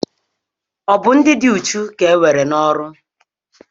Ọ bụ ndị dị uchu ka nwere n'oru